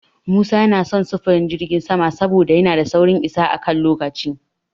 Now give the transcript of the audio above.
Musa yana son sufurin jirgin sama saboda yana da saurin isa a kan lokaci.